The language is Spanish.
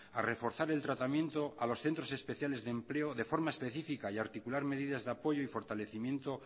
a reforzar el tratamiento a los centros especiales de empleo de forma específica y articular medidas de apoyo y fortalecimiento